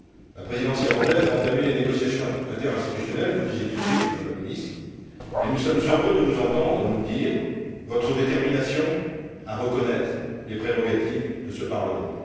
La Présidence irlandaise a entamé les négociations interinstitutionnelles, vous venez de le dire, Madame la Ministre, et nous sommes heureux de vous entendre nous dire votre détermination à reconnaître les prérogatives de ce Parlement.